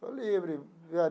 Estou livre, né?